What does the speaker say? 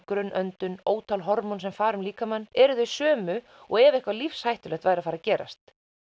grunn öndun ótal hormón sem fara um líkamann eru þau sömu og ef eitthvað lífshættulegt væri að fara að gerast